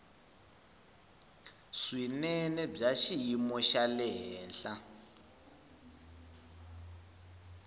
swinene bya xiyimo xa le